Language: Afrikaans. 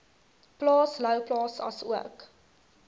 plaas louwplaas asook